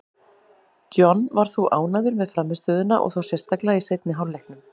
John var þó ánægður með frammistöðuna, og þá sérstaklega í seinni hálfleiknum.